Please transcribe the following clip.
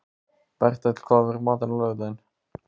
Bertel, hvað er í matinn á laugardaginn?